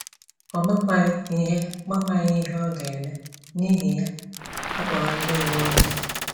Ọ makwaghị ihe makwaghị ihe ọ ga - eme, n’ihi ya ọ kpọrọ ndị uwe ojii.